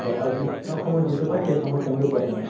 হয় আৰু সময় যিটো পায় সেই সময়্ত তেওঁলোকে পঢ়ে মানে